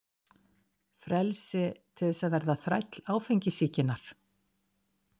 Frelsi til þess að verða þræll áfengissýkinnar?